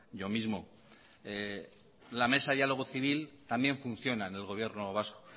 yo mismo la mesa de diálogo civil también funciona en el gobierno vasco